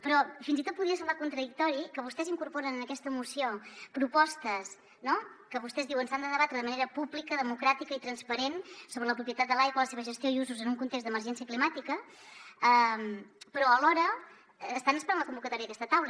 però fins i tot podria semblar contradictori que vostès incorporen en aquesta moció propostes que vostès diuen s’ha de debatre de manera pública democràtica i transparent sobre la propietat de l’aigua la seva gestió i usos en un context d’emergència climàtica però alhora estan esperant la convocatòria d’aquesta taula